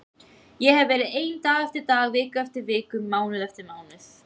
Ég hefi verið ein dag eftir dag, viku eftir viku, mánuð eftir mánuð.